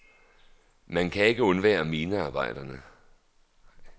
Man kan ikke undvære minearbejderne.